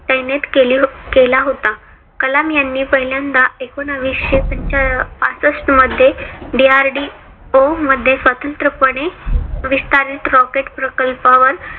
तैनेत केला होता. कलाम यांनी पहिल्यांदा एकोनाविशे पासष्ट मध्ये DRDO मध्ये स्वतंत्र पणे विस्तारित rocket प्रकल्पावर